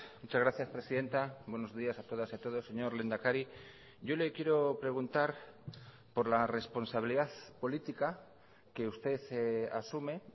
muchas gracias presidenta buenos días a todas y a todos señor lehendakari yo le quiero preguntar por la responsabilidad política que usted asume